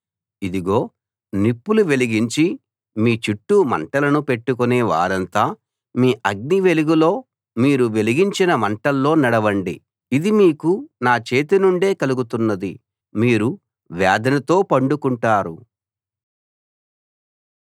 ఇదిగో నిప్పులు వెలిగించి మీ చుట్టూ మంటలను పెట్టుకొనే వారంతా మీ అగ్ని వెలుగులో మీరు వెలిగించిన మంటల్లో నడవండి ఇది మీకు నా చేతినుండే కలుగుతున్నది మీరు వేదనతో పండుకుంటారు